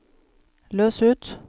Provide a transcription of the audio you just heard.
løs ut